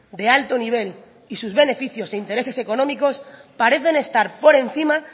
de alto nivel y sus beneficios e intereses económicos parecen estar por encima